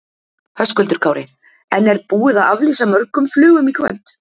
Höskuldur Kári: En er búið að aflýsa mörgum flugum í kvöld?